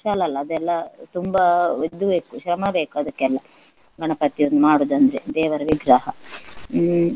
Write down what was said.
ಕುಶಾಲ್ ಅಲ್ಲ ಅದೆಲ್ಲ ತುಂಬಾ ಇದು ಬೇಕು ಶ್ರಮ ಬೇಕು ಅದಕ್ಕೆಲ್ಲ ಗಣಪತಿಯನ್ನು ಮಾಡುವುದು ಅಂದ್ರೆ ದೇವರ ವಿಗ್ರಹ ಹ್ಮ್.